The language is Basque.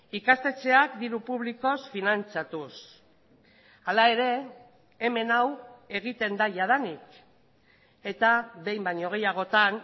ikastetxeak diru publikoz finantzatuz hala ere hemen hau egiten da jadanik eta behin baino gehiagotan